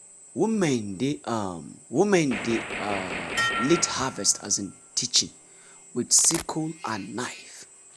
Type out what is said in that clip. women dey um women dey um lead harvest um teaching with sickle and knife.